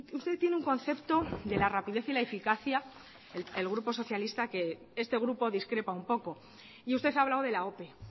usted tiene un concepto de la rapidez y la eficacia el grupo socialista que este grupo discrepa un poco y usted ha hablado de la ope